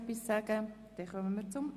– Das ist nicht der Fall.